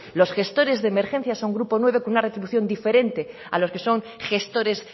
los gestores de emergencia son grupo nueve con una retribución diferente a lo que son gestores